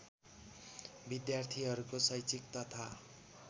विद्यार्थीहरूको शैक्षिक तथा